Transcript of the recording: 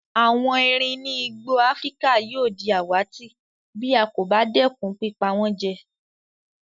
Àwon eerin ni igbó Afrika yio di àwàtì bí a kò ba dẹ́kun pípa wón jẹ